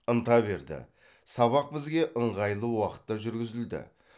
ынта берді сабақ бізге ыңғайлы уақытта жүргізілді